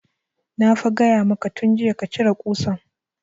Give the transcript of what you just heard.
Na fa gaya maka tun jiya ka cire ƙusan